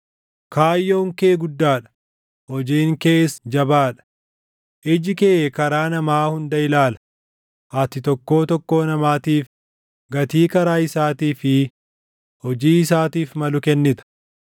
kaayyoon kee guddaa dha; hojiin kees jabaa dha. Iji kee karaa namaa hunda ilaala; ati tokkoo tokkoo namaatiif gatii karaa isaatii fi hojii isaatiif malu kennita.